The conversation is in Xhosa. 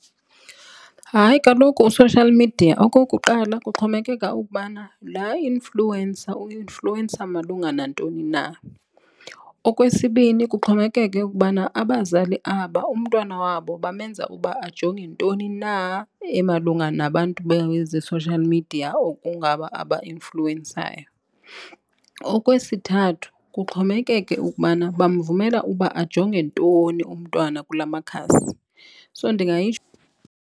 Hayi, kaloku u-social media okokuqala kuxhomekeka ukubana laa influencer u-influencer malunga nantoni na. Okwesibini, kuxhomekeke ukubana abazali aba umntwana wabo bamenza uba ajonge ntoni na emalunga nabantu beze-social media okungaba abainfluwensayo. Okwesithathu, kuxhomekeke ukubana bamvumela uba ajonge ntoni umntwana kula makhasi. So, ndingayitsho.